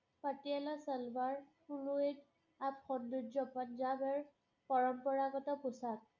পাটিৱালা চেলৱাৰ সৌন্দৰ্য্য পঞ্জাৱৰ পৰম্পৰাগত পোছাক